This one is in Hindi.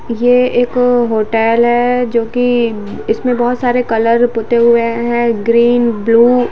ये एक होटल है जो की इसमें बहुत सारे कलर पोते हुए है ग्रीन ब्लू --